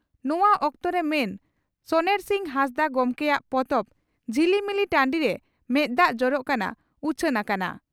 ᱱᱚᱣᱟ ᱚᱠᱛᱚᱨᱮ ᱢᱟᱱ ᱥᱚᱱᱮᱨᱥᱤᱝ ᱦᱟᱸᱥᱫᱟᱜ ᱜᱚᱢᱠᱮᱭᱟᱜ ᱯᱚᱛᱚᱵ 'ᱡᱷᱤᱞᱤᱢᱤᱞᱤ ᱴᱟᱺᱰᱤᱨᱮ ᱢᱮᱫ ᱫᱟᱜ ᱡᱚᱨᱚᱜ ᱠᱟᱱᱟ' ᱩᱪᱷᱟᱹᱱ ᱟᱠᱟᱱᱟ ᱾